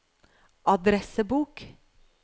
adressebok